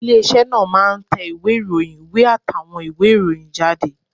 Ilé iṣẹ́ náà máa ń tẹ ìwé ìròyìn, ìwé àtàwọn ìwé ìròyìn jáde